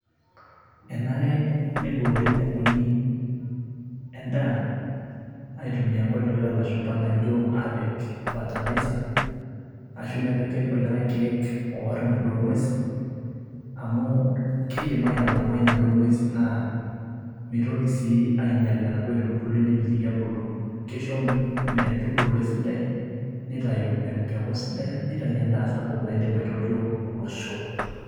Enare neiboori nkukuni endaa, aitumia nkoitoi oolashumba naijo aapik fertilizer ashu nepiki kulikae keek oarr inaduo ng'uesi amu keidim aitalamai inaduo ng'uesi naa meitoki sii ainyal enaduo aitubului nemitiki ebulu, keisho metubulu esidai neitayu empeku sidai neitayu endaa sapuk naidim aitotio olosho.